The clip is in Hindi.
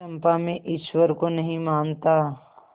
चंपा मैं ईश्वर को नहीं मानता